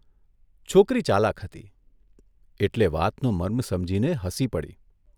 છોકરી ચાલાક હતી એટલે વાતનો મર્મ સમજીને હસી પડી.